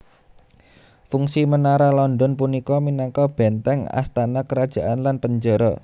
Fungsi Menara London punika minangka bèntèng astana kerajaan lan penjara